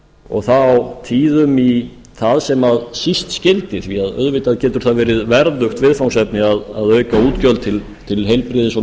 og þá tíðum í það sem síst skyldi því auðvitað getur það verið verðugt viðfangsefni að auka útgjöld til heilbrigðis og